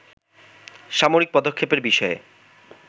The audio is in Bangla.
সামরিক পদক্ষেপের বিষয়ে